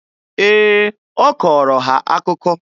Ee, ọ kọọrọ ha akụkọ.